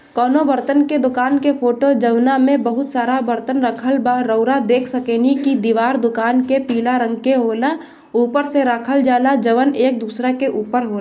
कउनो बर्तन के दुकान के फोटो जमना मे बहुत सारा बर्तन रखल बा रौरा देख सकेनी की दीवार दुकान की पीला रंग की ओला ऊपर से रखल जाला जउन एक दूसरे एक ऊपर होय--